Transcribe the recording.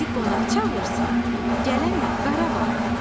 Bizi qonaq çağırsın, gələn il Qarabağa.